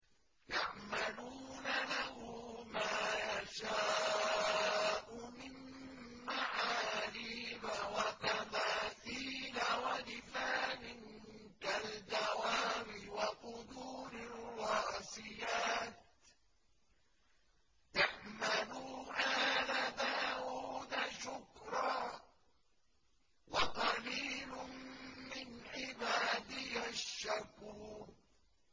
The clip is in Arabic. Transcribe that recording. يَعْمَلُونَ لَهُ مَا يَشَاءُ مِن مَّحَارِيبَ وَتَمَاثِيلَ وَجِفَانٍ كَالْجَوَابِ وَقُدُورٍ رَّاسِيَاتٍ ۚ اعْمَلُوا آلَ دَاوُودَ شُكْرًا ۚ وَقَلِيلٌ مِّنْ عِبَادِيَ الشَّكُورُ